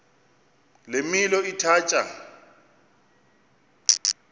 le milo ithatya